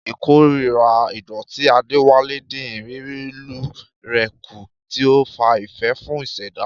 Ìkórìíra ìdọ̀tí Adewale dín ìrírí ìlú rẹ̀ kù, tí ó ń fa ìfẹ́ fún ìṣẹ̀dá.